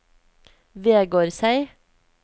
Vegårshei